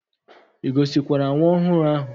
I gosikwara nwa ohuru ahu?